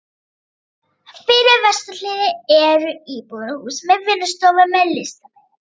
Fyrir vesturhlið eru íbúðarhús með vinnustofum fyrir listamenn.